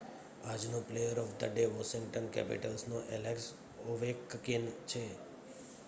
આજનો player of the day Washington કેપિટલ્સનો Alex Ovechkin છે